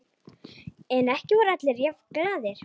En ekki voru allir jafn glaðir.